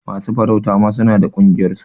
Masu farauta ma suna da ƙungiyar su.